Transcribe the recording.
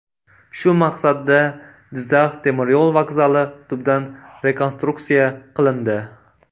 Shu maqsadda Jizzax temir yo‘l vokzali tubdan rekonstruksiya qilindi.